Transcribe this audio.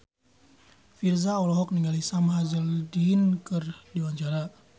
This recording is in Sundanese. Virzha olohok ningali Sam Hazeldine keur diwawancara